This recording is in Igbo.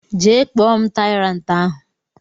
Jee kpọ m tyrant ahụ!!